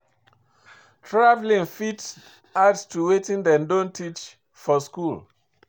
Travelling fit add to wetin dem don teach for school